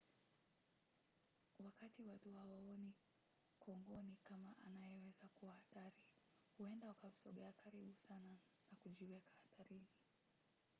wakati watu hawaoni kongoni kama anayeweza kuwa hatari huenda wakamsogea karibu sana na kujiweka hatarini